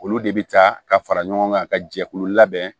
Olu de bɛ taa ka fara ɲɔgɔn kan ka jɛkulu labɛn